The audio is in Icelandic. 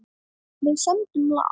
Og við sömdum lag.